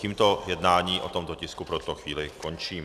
Tímto jednání o tomto tisku pro tuto chvíli končím.